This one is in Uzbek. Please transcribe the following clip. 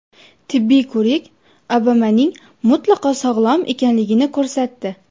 Tibbiy ko‘rik Obamaning mutlaqo sog‘lom ekanligini ko‘rsatdi.